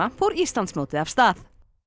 fór Íslandsmótið af stað